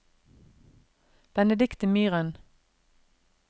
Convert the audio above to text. Benedicte Myhren